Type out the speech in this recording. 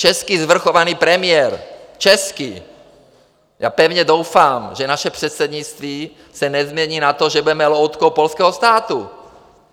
Český svrchovaný premiér, český - já pevně doufám, že naše předsednictví se nezmění na to, že budeme loutkou polského státu.